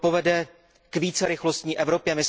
To povede k vícerychlostní Evropě.